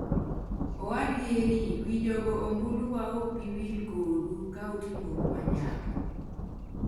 owadgi Erik: "wi jogo ombulu wa ok bi wil kodu ka utimoru jomanyap